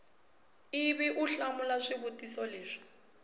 ivi u hlamula swivutiso leswi